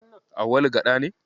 Auwalu Gaɗa ne.